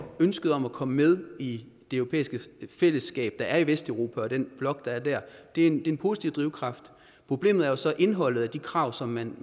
ønsket om at komme med i det europæiske fællesskab der er i vesteuropa og den blok der er der er en en positiv drivkraft problemet er jo så indholdet af de krav som man